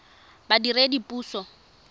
badiredipuso